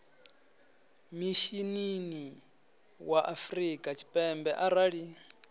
mishinini wa afrika tshipembe arali